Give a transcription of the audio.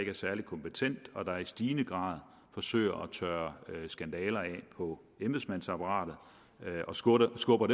er særlig kompetent og i stigende grad forsøger at tørre skandaler af på embedsmandsapparatet og skubber skubber